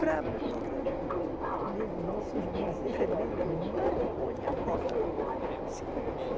Brabo, brabo, brabo. Nossos bezerro, mas põe a corda.